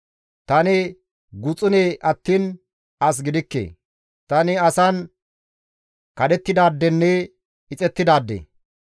Tani guxune attiin as gidikke; tani asan kadhettidaadenne ixettidaade.